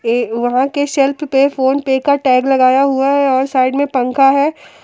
वहां के सेल्फ पे फोन पे का टैग लगाया हुआ है और साइड में पंखा है।